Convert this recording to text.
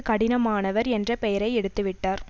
கடினமானவர் என்ற பெயரை எடுத்து விட்டார்